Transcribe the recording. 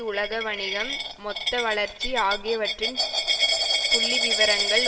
உலக வணிகம் மொத்த வளர்ச்சி ஆகியவற்றின் புள்ளிவிவரங்கள்